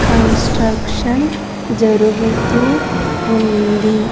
Construction జరుగుతూ ఉంది.